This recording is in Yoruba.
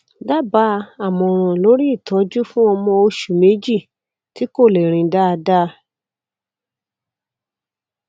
dábàá àmọràn lórí ìtọjú fún ọmọ oṣù méjì tí kò lè rìn dáadáa